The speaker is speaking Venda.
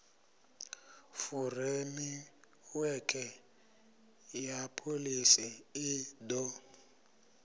furemiwekhe ya pholisi i d